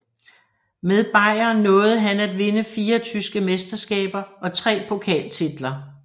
Med Bayern nåede han at vinde fire tyske mesterskaber og tre pokaltitler